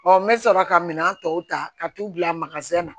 n bɛ sɔrɔ ka minan tɔw ta ka t'u bila na